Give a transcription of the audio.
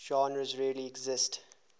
genres really exist